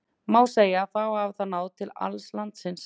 Má segja að þá hafi það náð til alls landsins.